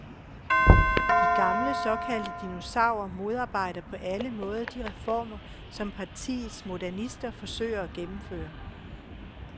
De gamle, såkaldte dinosaurer modarbejder på alle måder de reformer, som partiets modernister forsøger at gennemføre.